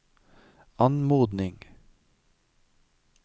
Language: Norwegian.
anmodning